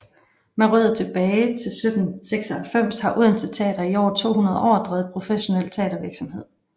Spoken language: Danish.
Med rødder tilbage til 1796 har Odense Teater i over 200 år drevet professionel teatervirksomhed